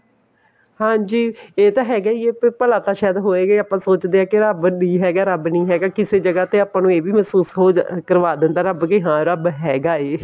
ਹਾਂਜੀ ਇਹ ਤਾਂ ਹੈਗਾ ਹੀ ਹੈ ਭਲਾ ਤਾਂ ਸ਼ਾਇਦ ਹੋਏਗਾ ਹੀ ਆਪਾਂ ਸੋਚਦੇ ਹਾਂ ਕੇ ਰੱਬ ਨੀ ਹੈਗਾ ਰੱਬ ਨੀ ਹੈਗਾ ਕਿਸੇ ਜਗ੍ਹਾ ਤੇ ਆਪਾਂ ਨੂੰ ਇਹ ਵੀ ਮਹਿਸੂਸ ਹੋ ਕਰਵਾ ਦਿੰਦਾ ਕੇ ਰੱਬ ਹੈਗਾ ਹੈ